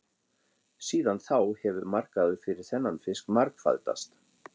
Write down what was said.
Síðan þá hefur markaður fyrir þennan fisk margfaldast.